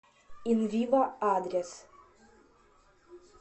инвиво адрес